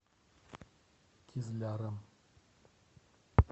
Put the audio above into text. кизляром